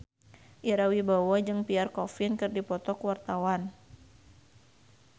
Ira Wibowo jeung Pierre Coffin keur dipoto ku wartawan